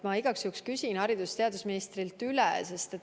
Ma igaks juhuks küsin selle haridus- ja teadusministrilt üle.